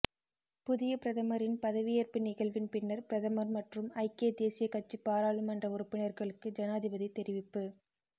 புதிய பிரதமரின் பதவியேற்பு நிகழ்வின் பின்னர் பிரதமர் மற்றும் ஐக்கிய தேசிய கட்சி பாராளுமன்ற உறுப்பினர்களுக்கு ஜனாதிபதி தெரிவிப்பு